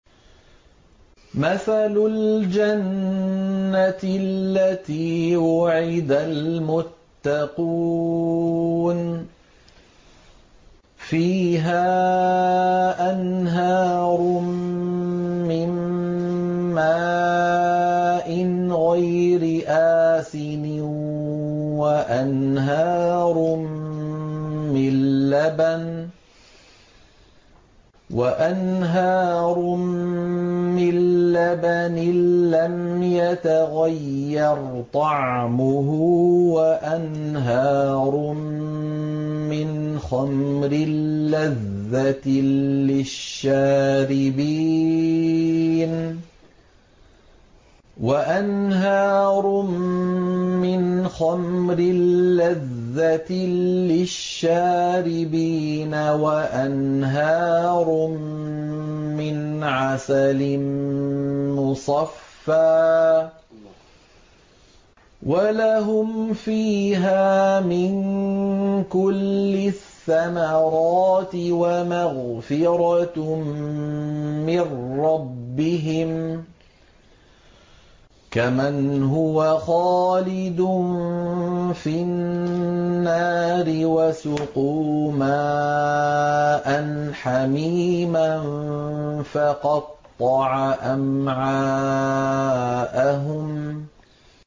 مَّثَلُ الْجَنَّةِ الَّتِي وُعِدَ الْمُتَّقُونَ ۖ فِيهَا أَنْهَارٌ مِّن مَّاءٍ غَيْرِ آسِنٍ وَأَنْهَارٌ مِّن لَّبَنٍ لَّمْ يَتَغَيَّرْ طَعْمُهُ وَأَنْهَارٌ مِّنْ خَمْرٍ لَّذَّةٍ لِّلشَّارِبِينَ وَأَنْهَارٌ مِّنْ عَسَلٍ مُّصَفًّى ۖ وَلَهُمْ فِيهَا مِن كُلِّ الثَّمَرَاتِ وَمَغْفِرَةٌ مِّن رَّبِّهِمْ ۖ كَمَنْ هُوَ خَالِدٌ فِي النَّارِ وَسُقُوا مَاءً حَمِيمًا فَقَطَّعَ أَمْعَاءَهُمْ